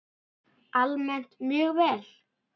Almennt mjög vel.